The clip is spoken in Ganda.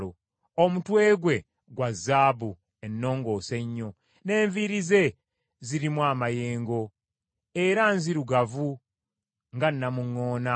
Omutwe gwe gwa zaabu ennongoose ennyo; n’enviiri ze zirimu amayengo, era nzirugavu nga nnamuŋŋoona.